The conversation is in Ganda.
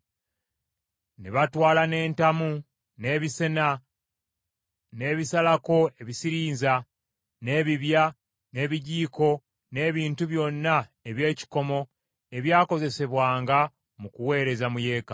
Ne batwala n’entamu, n’ebisena, n’ebisalako ebisirinza, n’ebibya, n’ebijiiko, n’ebintu byonna eby’ekikomo ebyakozesebwanga mu kuweereza mu Yeekaalu.